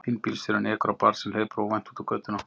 Hinn bílstjórinn ekur á barn sem hleypur óvænt út á götuna.